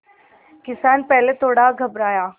किसान पहले थोड़ा घबराया